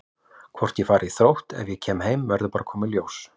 Hvort ég fari í Þrótt ef ég kem heim verður bara að koma í ljós.